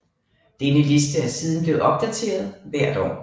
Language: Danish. Denne liste er siden blevet opdateret hvert år